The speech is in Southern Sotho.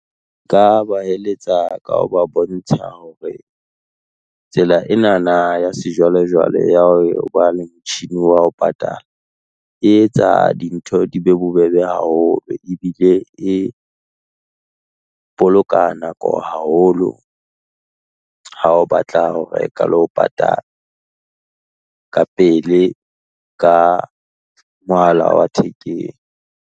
Nka ba eletsa ka ho ba bontsha hore, tsela ena na ya sejwalejwale ya ho ba le motjhini wa ho patala, e etsa dintho di be bobebe haholo ebile e boloka nako haholo ha o batla ho reka le ho patala, ka pele ka mohala wa thekeng.